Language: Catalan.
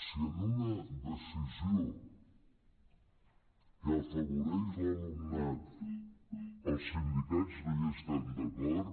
si en una decisió que afavoreix l’alumnat els sindicats no hi estan d’acord